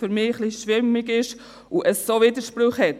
Für mich ist es etwas schwammig und hat Widersprüche.